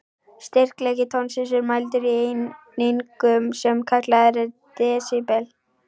Styrkleiki tónsins er mældur í einingum, sem kallaðar eru desibel.